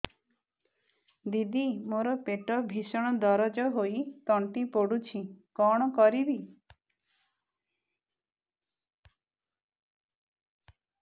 ଦିଦି ମୋର ପେଟ ଭୀଷଣ ଦରଜ ହୋଇ ତଣ୍ଟି ପୋଡୁଛି କଣ କରିବି